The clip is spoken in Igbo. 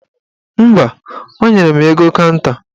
Mba, o nyere m ego kanta